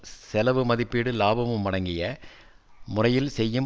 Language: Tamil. செலவு மதிப்பிடும் இலாபமும் அடங்கிய முறையில் செய்யும்